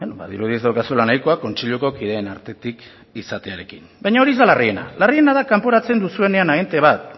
badirudi ez daukazula nahiko kontseiluko kideen artetik izatearekin baina hori ez da larriena larriena da kanporatzen duzuena agente bat